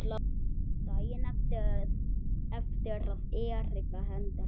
Daginn eftir að Erika Hendrik